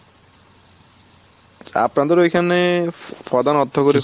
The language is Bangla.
আপনাদের ওই খানে প্রধান অর্থকরি ফসল